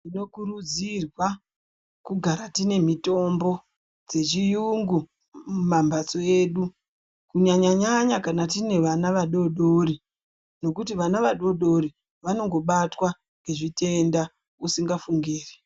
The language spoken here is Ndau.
Tinokurudzirwa kugara tine mitombo dzechiyungu mumambatso edu kunyanya nyanya kana tine vana vadodori nokuti vana vadodori vanongobatwa nezvitenda usingafungiri.